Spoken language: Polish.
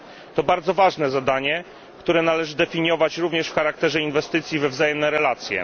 To bardzo ważne zadanie, które należy postrzegać również w charakterze inwestycji we wzajemne relacje.